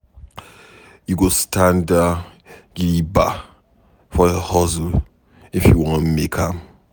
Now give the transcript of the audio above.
You go standa gidigba for your hustle if you wan make am.